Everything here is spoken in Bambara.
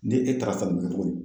Ni e taara sisan, dugu mɔgɔw